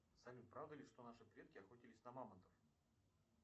салют правда ли что наши предки охотились на мамонтов